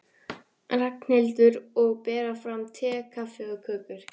Ragnhildur, og bera fram te, kaffi og kökur.